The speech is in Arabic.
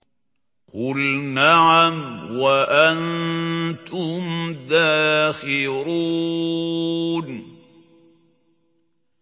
قُلْ نَعَمْ وَأَنتُمْ دَاخِرُونَ